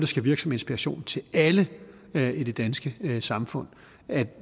skal virke som inspiration til alle i det danske samfund at